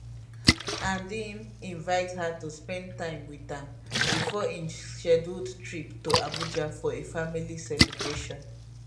and im invite her to spend time wit am bifor im scheduled trip to abuja for a family celebration